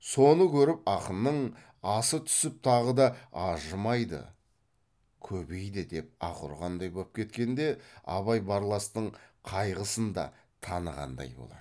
соны көріп ақынның аса түсіп ағы да ажымы да көбейді деп аһ ұрғандай боп кеткенде абай барластың қайғысын да танығандай болады